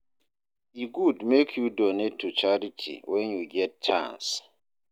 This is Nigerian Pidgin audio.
E good make you donate to charity when you get chance